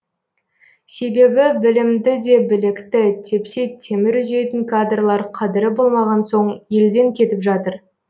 себебі білімді де білікті тепсе темір үзетін кадрлар қадірі болмаған соң елден кетіп жатыр